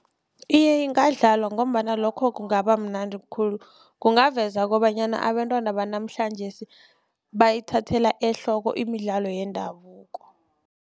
Iye ingadlalwa ngombana lokho kungabamnandi khulu kungaveza kobanyana abantwana banamhlanjesi bayithathela ehloko imidlalo yendabuko.